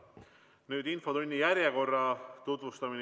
Nüüd tutvustan infotunni korda.